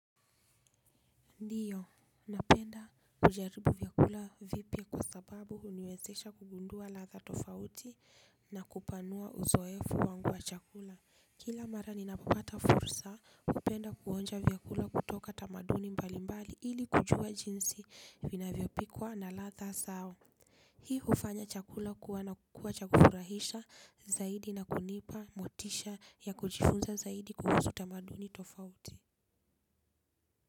Ndiyo, napenda kujaribu vyakula vipya kwa sababu uniwezesha kugundua ladha tofauti na kupanua uzoefu wangu wa chakula. Kila mara ninapopata fursa kupenda kuonja vyakula kutoka tamaduni mbali mbali ili kujua jinsi vinavyopikwa na ladha zao. Hii ufanya chakula kuwa na kukua cha kufurahisha zaidi na kunipa motisha ya kujifunza zaidi kuhusu tamaduni tofauti.